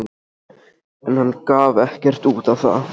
En hann gaf ekkert út á það.